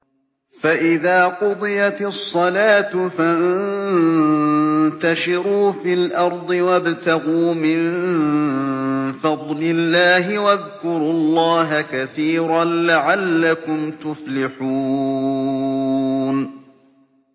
فَإِذَا قُضِيَتِ الصَّلَاةُ فَانتَشِرُوا فِي الْأَرْضِ وَابْتَغُوا مِن فَضْلِ اللَّهِ وَاذْكُرُوا اللَّهَ كَثِيرًا لَّعَلَّكُمْ تُفْلِحُونَ